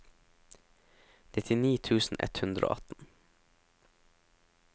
nittini tusen ett hundre og atten